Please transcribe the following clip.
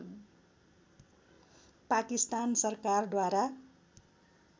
पाकिस्तान सरकार द्वारा